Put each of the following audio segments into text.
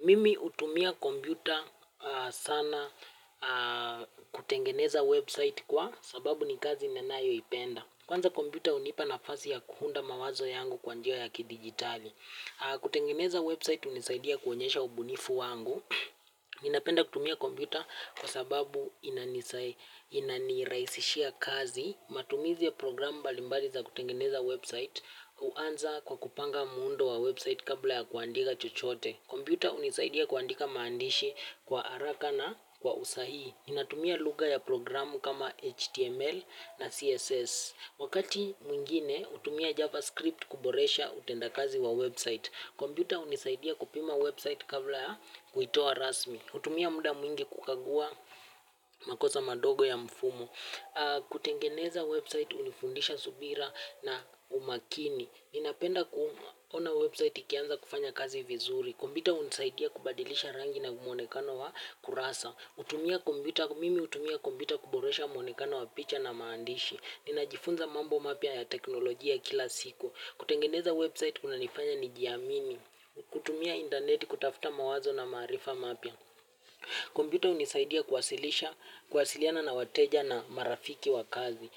Mimi hutumia kompyuta sana kutengeneza website kwa sababu ni kazi ninayoipenda. Kwanza kompyuta hunipa na fasi ya kuunda mawazo yangu kwa njia ya ki digitali. Kutengeneza website hunisaidia kuonyesha ubunifu wangu. Ninapenda kutumia kompyuta kwa sababu inanirahisishia kazi. Matumizi ya program mbalimbali za kutengeneza website huanza kwa kupanga muundo wa website kabla ya kuandika chochote. Kompyuta hunisaidia kuandika maandishi kwa haraka na kwa usahihi. Ninatumia lugha ya programu kama HTML na CSS. Wakati mwingine, hutumia JavaScript kuboresha utenda kazi wa website. Kompyuta hunisaidia kupima website kabla ya kuitoa rasmi. Hutumia muda mwingi kukagua makosa madogo ya mfumo. Kutengeneza website unifundisha subira na umakini. Ninapenda kuona website ikianza kufanya kazi vizuri. Kompyuta hunisaidia kubadilisha rangi na mwonekano wa kurasa. Mimi hutumia kompyuta kuboresha mwonekano wa picha na maandishi. Ninajifunza mambo mapya ya teknolojia kila siku. Kutengeneza website kuna nifanya ni jiamini. Kutumia interneti kutafuta mawazo na maarifa mapya kompyuta hunisaidia kuwasilisha kuwasiliana na wateja na marafiki wa kazi.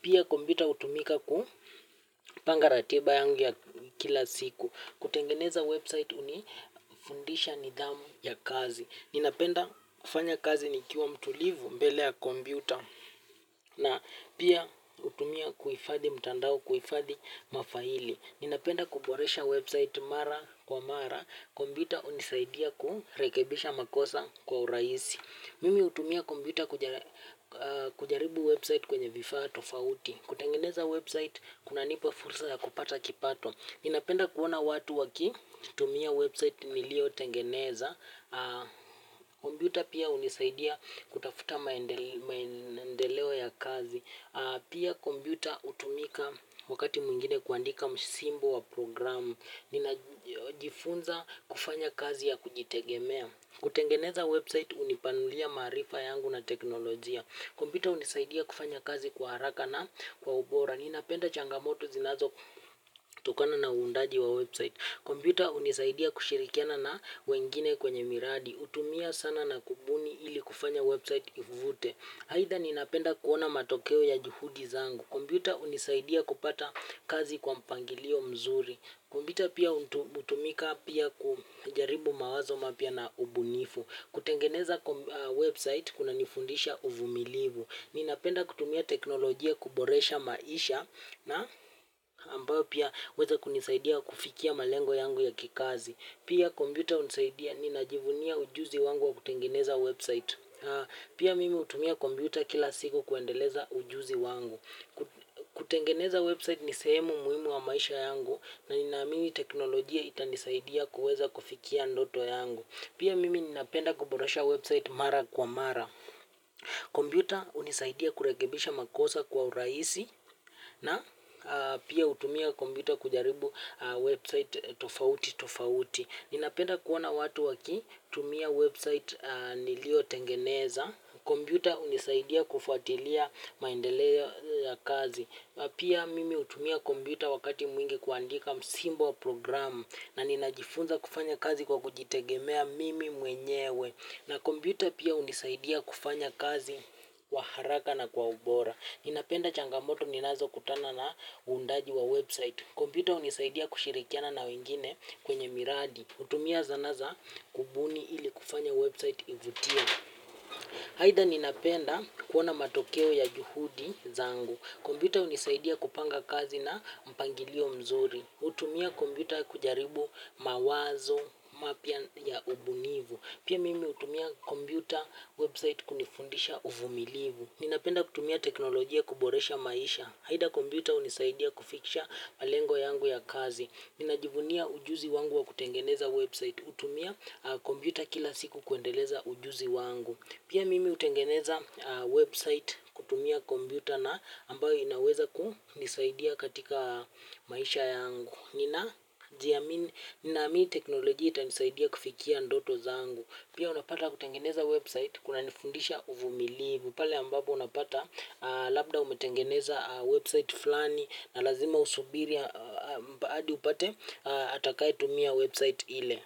Pia kompyuta hutumika kupanga ratiba yangu ya kila siku. Kutengeneza website hunifundisha nidhamu ya kazi. Ninapenda kufanya kazi nikiwa mtulivu mbele ya kompyuta na pia hutumia kuhifadhi mtandao kuhifadhi mafaili. Ninapenda kuboresha website mara kwa mara. Kompyuta hunisaidia kurekebisha makosa kwa urahisi. Mimi hutumia kompyuta kujaribu website kwenye vifaa tofauti. Kutengeneza website kuna nipa fursa ya kupata kipato. Ninapenda kuona watu waki, tumia website niliyo tengeneza, kompyuta pia hunisaidia kutafuta maendeleo ya kazi, pia kompyuta hutumika wakati mwingine kuandika msimbo wa programu, ninajifunza kufanya kazi ya kujitegemea. Kutengeneza website hunipanulia maarifa yangu na teknolojia. Kompyuta hunisaidia kufanya kazi kwa haraka na kwa ubora. Ninapenda changamoto zinazo tokana na undaji wa website. Kompyuta hunisaidia kushirikiana na wengine kwenye miradi hutumia sana na kubuni ili kufanya website ivute. Aidha ninapenda kuona matokeo ya juhudi zangu. Kumbita unisaidia kupata kazi kwa mpangilio mzuri. Kompyuta pia hutumika pia kujaribu mawazoma pya na ubunifu. Kutengeneza website kuna nifundisha uvumilivu. Ninapenda kutumia teknolojia kuboresha maisha na ambayo pia weza kunisaidia kufikia malengo yangu ya kikazi. Pia kompyuta hunisaidia ni najivunia ujuzi wangu wa kutengeneza website. Pia mimi hutumia kompyuta kila siku kuendeleza ujuzi wangu. Kutengeneza website ni sehemu muhimu wa maisha yangu na ninaamini teknolojia itanisaidia kuweza kufikia ndoto yangu. Pia mimi ninapenda kuboresha website mara kwa mara. Kompyuta hunisaidia kurekebisha makosa kwa urahisi na pia hutumia kompyuta kujaribu website tofauti tofauti. Ninapenda kuona watu waki tumia website niliyo tengeneza. Kompyuta hunisaidia kufuatilia maendeleo ya kazi. Pia mimi hutumia kompyuta wakati mwingi kuandika msimbo wa programu na ninajifunza kufanya kazi kwa kujitegemea mimi mwenyewe. Na kompyuta pia hunisaidia kufanya kazi wa haraka na kwa ubora. Ninapenda changamoto ninazo kutana na uundaji wa website. Kompyuta hunisaidia kushirikiana na wengine kwenye miradi hutumia zanaza kubuni ili kufanya website ivutie. Aidha ninapenda kuona matokeo ya juhudi zangu. Kompyuta hunisaidia kupanga kazi na mpangilio mzuri. Hutumia kompyuta kujaribu mawazo mapya ya ubunifu. Pia mimi hutumia kompyuta website kunifundisha uvumilivu. Ninapenda kutumia teknolojia kuboresha maisha. Aidha kompyuta hunisaidia kufikisha malengo yangu ya kazi. Ninajivunia ujuzi wangu wa kutengeneza website. Utumia kombiuta kila siku kuendeleza ujuzi wangu. Pia mimi hutengeneza website kutumia kompyuta na ambayo inaweza ku nisaidia katika maisha yangu. Nina jiamini, ninaamini teknolojia ita nisaidia kufikia ndoto zangu. Pia unapata kutengeneza website kuna nifundisha uvumilivu. Pale ambapo unapata labda umetengeneza website fulani na lazima usubiri hadi upate atakaye tumia website ile.